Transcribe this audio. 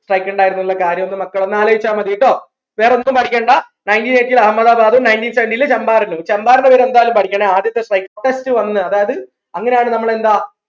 strike ഇണ്ടായിരുന്നുന്നുള്ള കാര്യോ ഒന്ന് മക്കൾ ഒന്ന് ആലോയിച്ച മതി ട്ടോ വേറെഒന്നു പടിക്കണ്ട nineteen eighteen ൽ അഹമ്മദാബാദും nineteen seventeen ൽ ചമ്പാരനും ചമ്പാരൻന്റ എന്തായാലു പടിക്കണേ ആദ്യത്തെ strike വന്നത് അങ്ങനെയാ നമ്മൾ എന്താ